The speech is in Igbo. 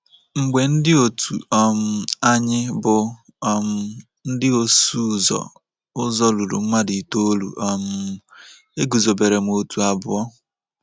Mgbe ndị otu um anyị bụ́ um ndị ọsụ ụzọ ụzọ ruru mmadụ itoolu, um e guzobere otu abụọ.